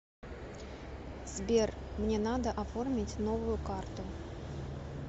сбер мне надо оформить новую карту